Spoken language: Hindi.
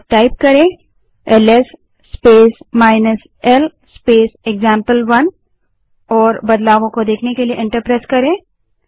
अब L S space l space example one type करें और बदलाव को देखने के लिए एंटर दबायें